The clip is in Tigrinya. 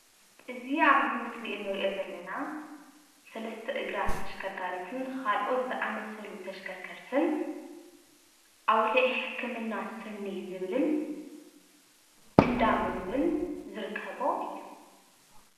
እዚ ኣብዚ ምስሊ እንርእዮ ዘለና ሰለስተ እግራ ተሽከርካሪትን ካልኦት ዘአመሰሉ ተሽከርከርትን ኣዉሊዕ ሕክምና ስኒ ዝብልን እንዳ ምግብን ዝርከቦ እዩ።